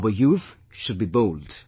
Our youth should be bold